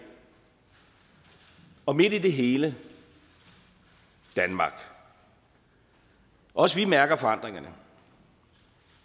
og midt i det hele danmark også vi mærker forandringerne